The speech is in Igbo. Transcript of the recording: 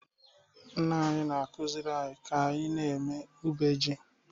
Nna anyị na-akụziri anyị ka anyị na-eme ube ji